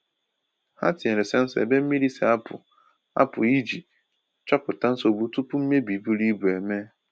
Ha tinyere sensọ ebe mmiri si-apụ apụ iji chọpụta nsogbu tupu mmebi buru ibu eme.